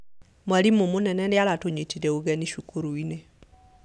Mwarimũ mũnene nĩaratũnyitire ũgeni cukuru-inĩ